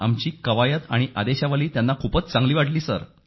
आमची कवायत आणि 95 ऑफ कमांड त्यांना खूप चांगली वाटली सर